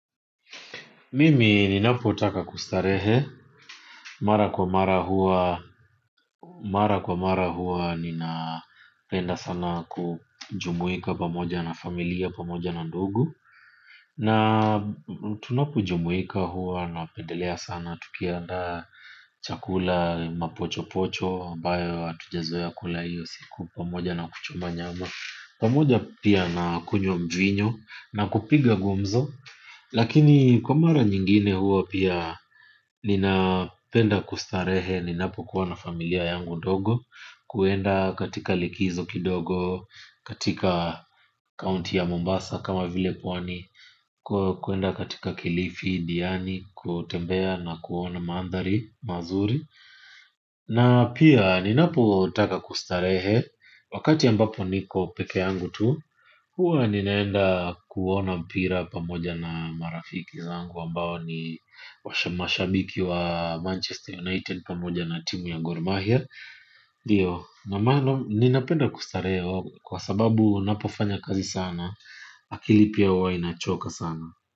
Mimi ninapotaka kustarehe, mara kwa mara huwa, mara kwa mara huwa nina penda sana kujumuika pamoja na familia pamoja na ndugu. Na tunapojumuika huwa na pendelea sana, tukiandaa chakula mapochopocho, ambayo atujezoea kula iyo siku pamoja na kuchoma nyama pamoja pia na kunywa mvinyo na kupiga gumzo. Lakini kwamara nyingine huwa pia nina penda kustarehe ni napo kuwa na familia yangu ndogo. Kwenda katika likizo kidogo, katika county ya Mombasa kama vile pwani. Kwenda katika kilifi, diani, kutembea na kuona maandhari, mazuri. Na pia ni napo taka kustarehe. Wakati ambapo niko peke yangu tu hua ninaenda kuona mpira pamoja na marafiki zangu ambao ni mashabiki wa Manchester United pamoja na timu ya gormahia ndio, nina penda kustarehe kwa sababu napofanya kazi sana. Akili pia huwa inachoka sana.